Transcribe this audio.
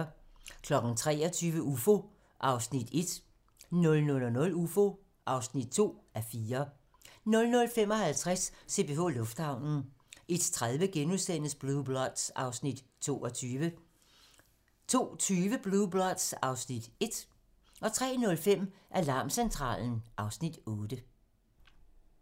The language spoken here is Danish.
23:00: Ufo (1:4) 00:00: Ufo (2:4) 00:55: CPH Lufthavnen 01:30: Blue Bloods (Afs. 22)* 02:20: Blue Bloods (Afs. 1) 03:05: Alarmcentralen (Afs. 8)